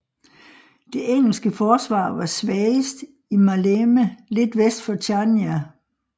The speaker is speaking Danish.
Det engelske forsvar var svagest i Maleme lidt vest for Chania